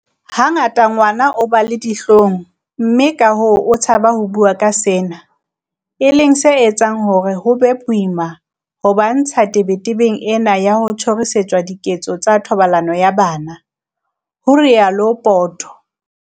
"Hangata ngwana o ba le dihlong mme kahoo o tshaba ho bua ka sena, e leng se etsang hore ho be boima ho ba ntsha ho tebetebeng ena ya ho tjhorisetswa diketso tsa thobalano ya bana," ho rialo Poto.